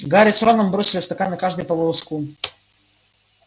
гарри с роном бросили в стаканы каждый по волоску